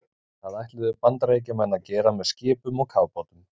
Það ætluðu Bandaríkjamenn að gera með skipum og kafbátum.